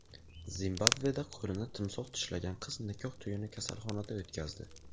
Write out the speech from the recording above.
Zimbabveda qo‘lini timsoh tishlagan qiz nikoh to‘yini kasalxonada o‘tkazdi.